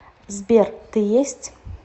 сбер ты есть